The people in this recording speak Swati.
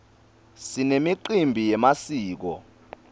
sinemicimbi yemasiko